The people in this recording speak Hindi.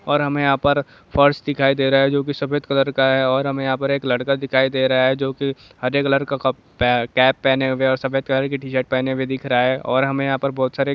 और यहा पर हमें फर्श दिखाई दे रहा है जो कि सफेद कलर का हैऔर यहा पर लड़का दिखाई दे रहा है जो कि हरे कलर का कपड़ा केप पहने सफेद कलर की टी-शर्ट दिख रहा है और हमें यहा पर बहुर सारी--